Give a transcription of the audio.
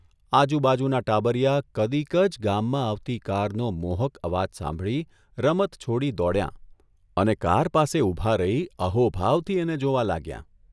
આજુબાજુનાં ટાબરિયાં કદીક જ ગામમાં આવતી કારનો મોહક અવાજ સાંભળી રમત છોડી દોડ્યાં અને કાર પાસે ઊભાં રહી અહોભાવથી એને જોવા લાગ્યાં.